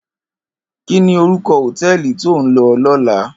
Kini órúkò hótèlí tó n lò lòlá?